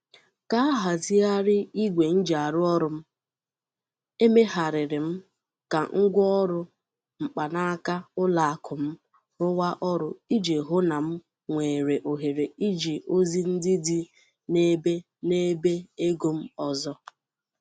Ka a hazighari igwe njiarụọrụ́ m, emegharịrị m ka ngwaọrụ mkpanaaka ụlọakụ m rụwa ọrụ iji hụ na m nwere ohere iji ozi ndị dị n'ebe n'ebe ego m ọzọ.